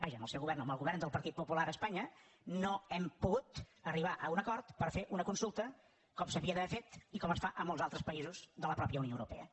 vaja amb el seu govern no amb el govern del partit popular a espanya no hem pogut arribar a un acord per fer una consulta com s’hauria d’haver fet i com es fa a molts altres països de la mateixa unió europea